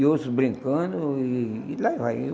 E outros brincando, e e lá vai.